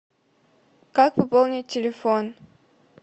как пополнить телефон